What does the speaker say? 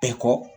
Bɛɛ kɔ